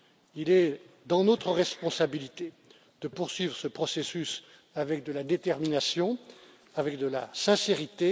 Il est de notre responsabilité de poursuivre ce processus avec de la détermination, avec de la sincérité.